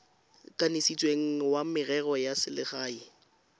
kanisitsweng wa merero ya selegae